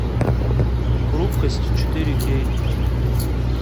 хрупкость четыре кей